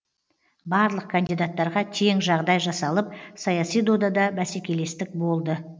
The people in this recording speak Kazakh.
барлық кандидаттарға тең жағдай жасалып саяси додада бәсекелестік болды